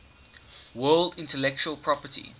world intellectual property